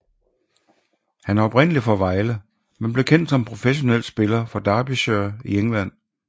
Han er oprindelig fra Vejle men blev kendt som professionel spiller for Derbyshire i England